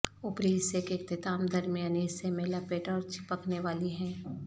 اوپری حصے کے اختتام درمیانی حصے میں لپیٹ اور چپکنے والی ہیں